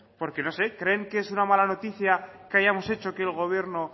porque no sé creen que es una mala noticia que hayamos hecho que el gobierno